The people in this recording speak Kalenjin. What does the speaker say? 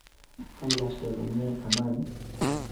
Kailaike komie kamani